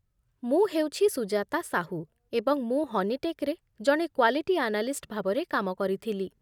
ମୁଁ ହେଉଛି ସୁଜାତା ସାହୁ, ଏବଂ ମୁଁ ହନିଟେକ୍‌‌ରେ ଜଣେ କ୍ଵାଲିଟି ଆନାଲିଷ୍ଟ ଭାବରେ କାମ କରିଥିଲି